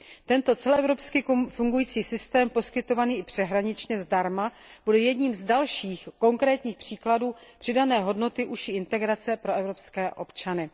Tento celoevropský fungující systém poskytovaný i přeshraničně zdarma bude jedním z dalších konkrétních příkladů přidané hodnoty užší integrace pro evropské občany.